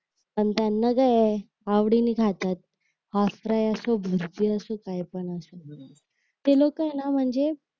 पण त्यांना काय आहे आवडीने खातात हाफ फ्राय असो बुर्जी असो काय पण असो ते लोक आहे ना म्हणजे